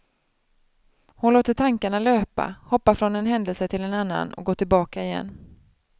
Hon låter tankarna löpa, hoppar från en händelse till en annan, går tillbaka igen.